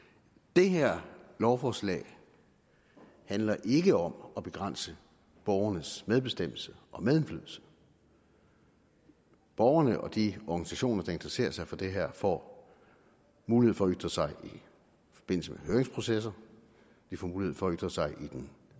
det her lovforslag handler ikke om at begrænse borgernes medbestemmelse og medindflydelse borgerne og de organisationer der interesserer sig for det her får mulighed for at ytre sig i forbindelse med høringsprocesser de får mulighed for at ytre sig i den